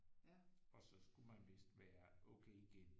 Og så skulle man vidst være okay igen